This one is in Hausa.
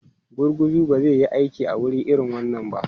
Gurguzu ba zai yi aiki a wuri irin wannan ba.